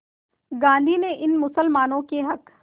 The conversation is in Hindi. गांधी ने इन मुसलमानों के हक़